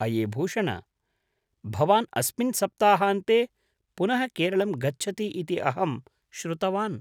अये भूषण! भवान् अस्मिन् सप्ताहान्ते पुनः केरलं गच्छति इति अहं श्रुतवान्।